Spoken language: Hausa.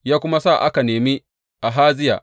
Ya kuma sa aka nemi Ahaziya.